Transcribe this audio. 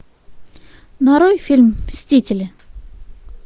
нарой фильм мстители